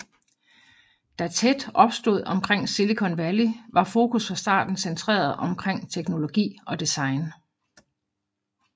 Da TED opstod omkring Silicon Valley var fokus fra starten centreret omkring teknologi og design